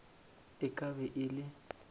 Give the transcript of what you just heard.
e ka be e le